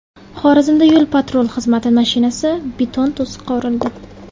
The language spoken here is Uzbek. Xorazmda yo‘l-patrul xizmati mashinasi beton to‘siqqa urildi .